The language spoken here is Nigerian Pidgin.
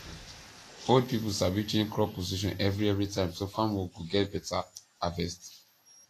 old people sabi change crop position every every time so farm work go get better harvest